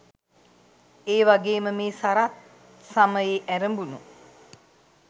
එවගේම මේ සරත් ස‍මයේ ඇරඹුණු